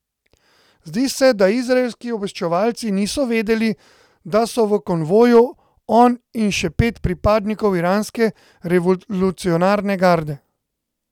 Zdi se, da izraelski obveščevalci niso vedeli, da so v konvoju on in še pet pripadnikov iranske revolucionarne garde.